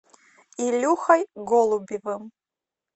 илюхой голубевым